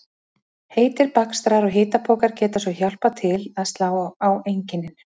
Heitir bakstrar og hitapokar geta svo hjálpað til að slá á einkennin.